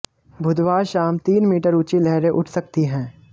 बुधवार शाम तीन मीटर ऊंची लहरें उठ सकती हैं